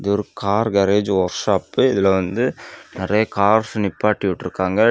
ஒரு car garage workshop இதுல வந்து நெறைய கார்ஸ் நிப்பாட்டிவிட்றுக்காங்க.